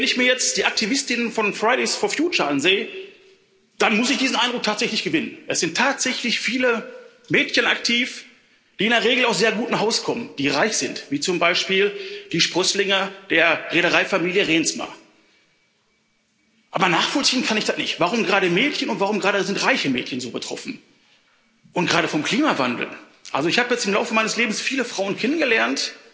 Wenn ich mir jetzt die Aktivistinnen von Fridays for Future ansehe, dann muss ich diesen Eindruck tatsächlich gewinnen, es sind tatsächlich viele Mädchen aktiv, die in der Regel aus sehr gutem Haus kommen, die reich sind, wie zum Beispiel die Sprösslinge der Reedereifamilie Reemtsma. Aber nachvollziehen kann ich das nicht. Warum gerade sind Mädchen und warum gerade sind reiche Mädchen so betroffen? Und gerade vom Klimawandel? Ich habe im Lauf meines Lebens viele Frauen kennengelernt,